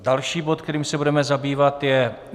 Další bod, kterým se budeme zabývat, je